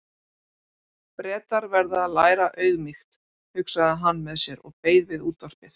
Bretar verða að læra auðmýkt, hugsaði hann með sér og beið við útvarpið.